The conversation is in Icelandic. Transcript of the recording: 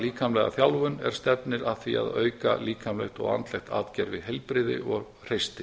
líkamlega þjálfun er stefnir að því að auka líkamlegt og andlegt atgervi heilbrigði og hreysti